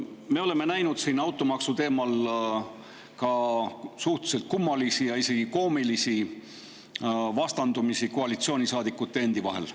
Me oleme näinud siin automaksu teemal ka suhteliselt kummalisi ja isegi koomilisi vastandumisi koalitsioonisaadikute endi vahel.